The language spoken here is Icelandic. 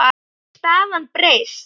Hefur staðan breyst?